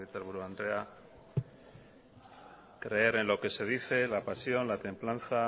legebiltzarburu andrea creer en lo que se dice la pasión la templanza